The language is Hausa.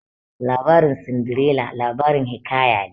Labarin Sindirela labarin hiƙaya ne